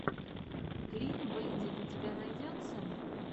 клин бэндит у тебя найдется